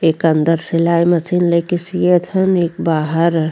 एक अंदर सिलाई मशीन लेके सियत हन एक बाहर।